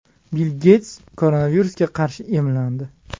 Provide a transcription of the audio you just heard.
Bill Geyts koronavirusga qarshi emlandi.